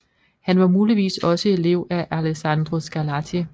Han var muligvis også elev af Alessandro Scarlatti